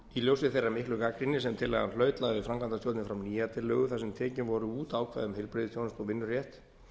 í ljósi þeirrar miklu gagnrýni sem tillagan hlaut lagði framkvæmdarstjórnin fram nýja tillögu þar sem tekin voru út ákvæði um heilbrigðisþjónustu og vinnurétt